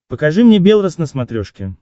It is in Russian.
покажи мне белрос на смотрешке